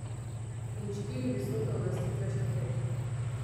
In štiri visoke uvrstitve štafet.